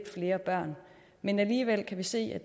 flere børn men alligevel kan vi se at